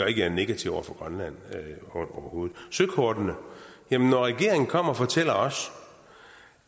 at jeg er negativ over for grønland søkortene jamen når regeringen kommer og fortæller os